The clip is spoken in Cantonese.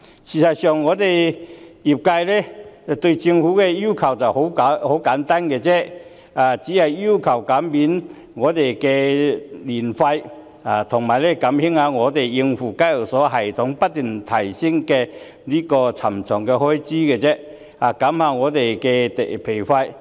事實上，業界對政府的要求十分簡單，只是要求減免牌費和減低業界用以應付香港交易所交易系統不斷提升的沉重開支，以減輕我們的負擔。